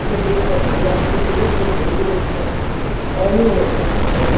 ওই যে একটা ঢেউ আসতেছিল সেই ঢেউগুলো আপনার কাছে স্মরণীয় হয়ে থাকবে তাইতো?